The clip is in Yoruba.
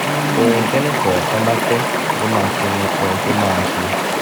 ohun tẹ́nì kọ̀ọ̀kan bá fẹ́ ló máa pinnu ohun tó máa ṣe